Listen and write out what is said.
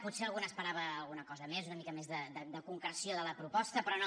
potser algú n’esperava alguna cosa més una mica més de concreció de la proposta però no